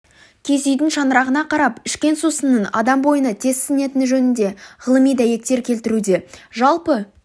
киіз үйдің шаңырағына қарап ішкен сусынның адам бойына тез сіңетіні жөнінде ғылыми дәйектер келтіруде жалпы